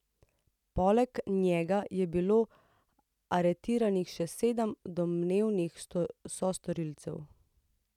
Poleg njega je bilo aretiranih še sedem domnevnih sostorilcev.